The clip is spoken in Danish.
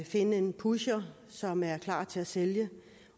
finde en pusher som er klar til at sælge